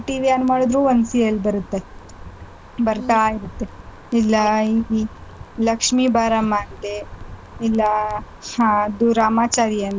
TV on ಮಾಡಿದ್ರೂನೂ ಒಂದ್ serial ಬರುತ್ತೆ ಬರ್ತಾ ಇರುತ್ತೆ ಇಲ್ಲಾ ಈ ಲಕ್ಷ್ಮೀ ಬಾರಮ್ಮ ಅಂತೇ ಇಲ್ಲಾ ಹ ಅದು ರಾಮಾಚಾರಿ ಅಂತೇ.